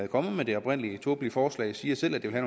kommet med det oprindelige tåbelige forslag siger selv at det vil